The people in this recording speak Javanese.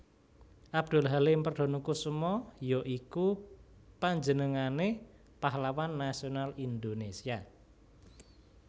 Abdul Halim Perdanakusuma ya iku panjenengané pahlawan nasional Indonésia